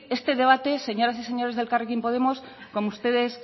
este debate señoras y señores del elkarrekin podemos como ustedes